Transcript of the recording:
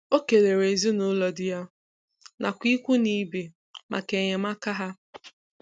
o kelere ezinaụlọ di ya nakwa ikwu na ibe maka enyemaka ha.